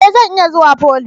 E! Zan iya zuwa foly.